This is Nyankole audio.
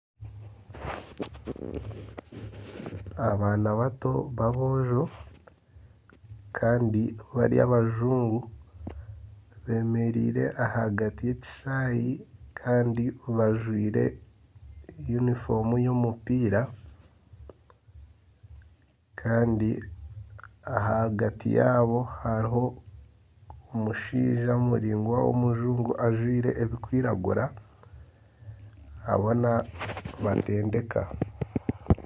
Abaana bato b'abojo kandi bari abajungu bemereire ahagati y'ekishaayi kandi bajwaire yunifoomu ey'omupiira kandi ahagati yaabo hariho omushaija muraingwa w'omujungu ajwaire ebirikwiragura ariho nabatendeeka